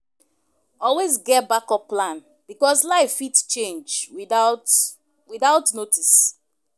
Always get backup plan because life fit change without without notice